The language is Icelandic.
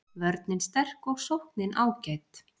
Vörnin sterk og sóknin ágæt